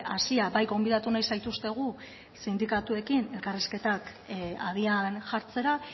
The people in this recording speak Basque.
hasia bai gonbidatu nahi zaituztegu sindikatuekin elkarrizketak abian jartzera